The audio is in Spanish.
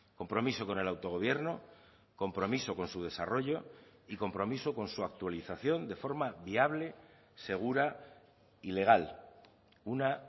compromiso con el autogobierno compromiso con su desarrollo y compromiso con su actualización de forma viable segura y legal una